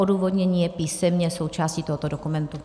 Odůvodnění je písemně součástí tohoto dokumentu.